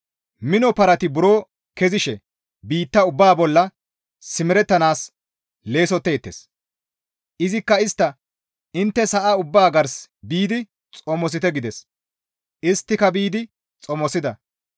Mino parati buro kezishe biitta ubbaa bolla simerettanaas leessotteettes; izikka istta, «Intte sa7a ubbaa gars biidi xomosite» gides; isttika biidi xomosida.